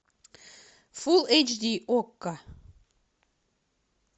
фул эйч ди окко